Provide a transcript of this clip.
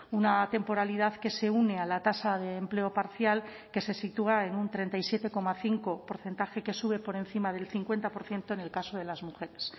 una temporalidad que se une a la tasa de empleo parcial que se sitúa en un treinta y siete coma cinco porcentaje que sube por encima del cincuenta por ciento en el caso de las mujeres